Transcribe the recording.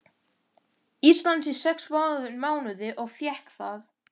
Íslands í sex mánuði og fékk það.